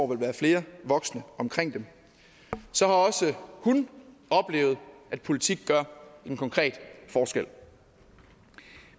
vil være flere voksne omkring dem så har også hun oplevet at politik gør en konkret forskel